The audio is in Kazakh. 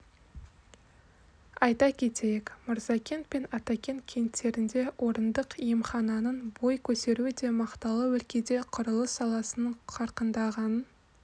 айта кетейік мырзакент пен атакент кенттерінде орындық емхананың бой көтеруі де мақталы өлкеде құрылыс саласының қарқындағанын